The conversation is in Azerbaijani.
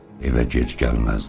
Evə gec gəlməzdi.